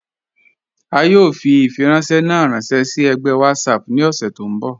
A yọ̀ fi ifiranṣẹ̀ na ranṣẹ si ẹ̀gbẹ WhatsApp ni ọṣẹ tó nbọ̀.